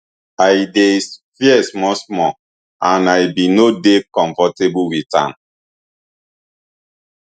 i dey fear smallsmall and i bin no dey comfortable wit am